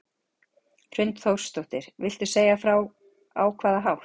Hrund Þórsdóttir: Viltu segja frá á hvaða hátt?